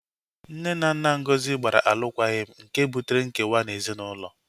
Nne na nna Ngozi gbara alụkwaghịm nke butere nkewa na ezinaụlọ